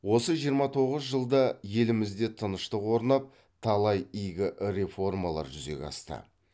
осы жиырма тоғыз жылда елімізде тыныштық орнап талай игі реформалар жүзеге асты